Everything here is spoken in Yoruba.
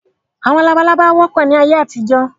Àwọn labalábá wọ́pọ̀ ni ayé àtijọ́